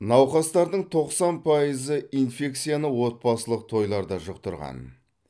науқастардың тоқсан пайызы инфекцияны отбасылық тойларда жұқтырған